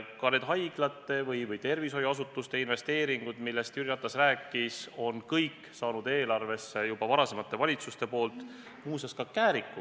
Ka need haiglate või tervishoiuasutuste investeeringud, millest Jüri Ratas rääkis, on kõik saanud eelarvesse juba varasemate valitsuste ajal, muuseas ka Kääriku.